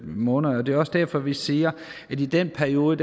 måneder det er også derfor at vi siger at i den periode